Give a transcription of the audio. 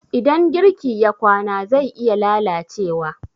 idan girki ya kwana zai iya lalacewa